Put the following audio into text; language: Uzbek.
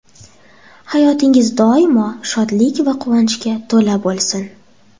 Hayotingiz doimo shodlik va quvonchga to‘la bo‘lsin.